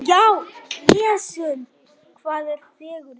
Hvað er fegurðin?